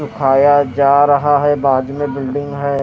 उठाया जा रहा है बाजू में बिल्डिंग है।